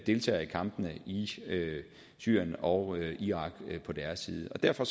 deltager i kampene i syrien og irak på deres side så derfor